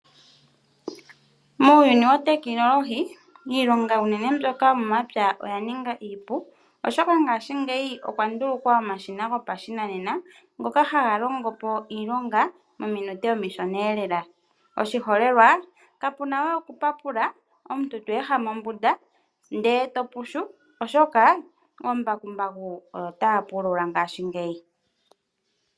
Muuyuni wotekinolohi iilonga unene mbyoka yomomapya oya ninga iipu, oshoka ngashingeyi okwa ndulukwa omashina gopashinanena ngoka haga longo po iilonga mominute omishon'eelela, oshiholelwa kapuna we okupapula omuntu to ehama ombunda ndee topushu oshoka oombakumbaku oyo taapulula ngashingeyi.